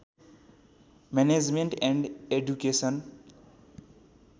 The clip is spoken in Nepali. management and education